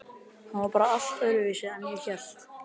Hann var bara allt öðruvísi en ég hélt.